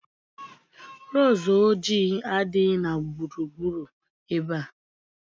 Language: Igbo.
Roozu ojii adighị na gburugburu ebe a